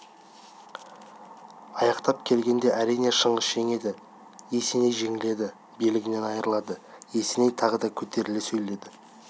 аяқтап келгенде әрине шыңғыс жеңеді есеней жеңіледі билігінен айрылады есеней тағы да көтеріле сөйледі